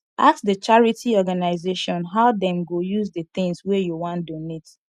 ask di charity organisation how dem go use di things wey you wan donate